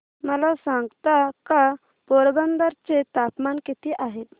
मला सांगता का पोरबंदर चे तापमान किती आहे